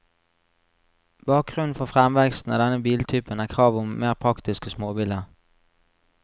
Bakgrunnen for fremveksten av denne biltypen er kravet om mer praktiske småbiler.